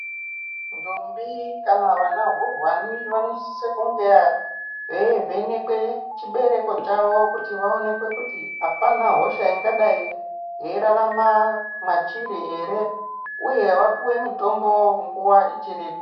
Ndombi kana vana hurwani vanosisa kunge veivhenekwa chibereko chawo kuti vaonekwe kuti apaana hosha ingadai yeirarama machiri here uye vapuwe mutombo nguwa ichiripo.